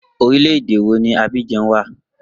Orílẹ̀ èdè wo ni Abidjan wà?